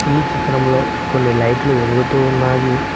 ఈ చిత్రంలో కొన్ని లైట్లు వెలుగుతున్నాయి.